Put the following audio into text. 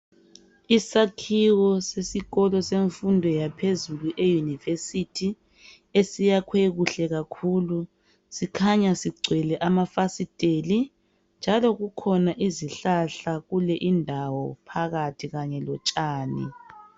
Isakhiwo sesikolo semfundo yaphezulu euniversity esiyakhwe kuhle kakhulu sikhanya sigcwele amafasiteli njalo kukhona izihlahla kule indawo phakathi kanye lotshani.